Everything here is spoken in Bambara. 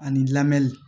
Ani lamɛnni